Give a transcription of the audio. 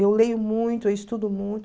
Eu leio muito, eu estudo muito.